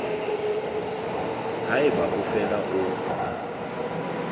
ha eba o fela o